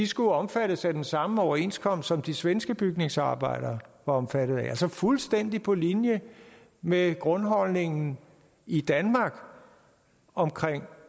skulle omfattes af den samme overenskomst som de svenske bygningsarbejdere var omfattet af altså fuldstændig på linje med grundholdningen i danmark om